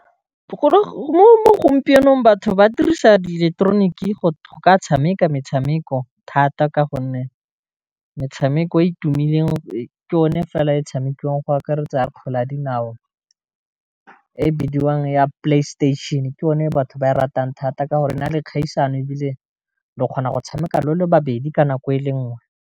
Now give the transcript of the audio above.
Mo gompienong batho ba dirisa di ileketeroniki go tshameka metshameko thata ka gonne metshameko e tumileng ke yone fela e tshamekiwang go akaretsa kgwele ya dinao e bidiwang ya playstation ke one batho ba e ratang thata ka gore e na le kgaisano e bile le o kgona go tshameka le le babedi ka nako e le nngwe.